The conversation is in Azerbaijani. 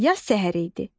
Yaz səhəri idi.